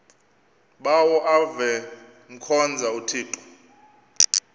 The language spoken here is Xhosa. bawo avemkhonza uthixo